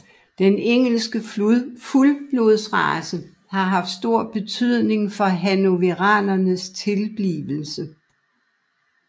Den engelske fuldblodsrace har haft stor betydning for hannoveranerens tilblivelse